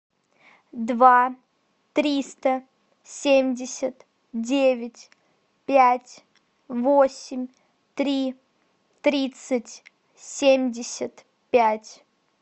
два триста семьдесят девять пять восемь три тридцать семьдесят пять